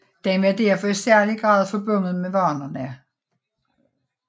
Den var derfor i særlig grad forbundet med vanerne